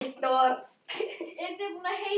Allt gekk það eftir.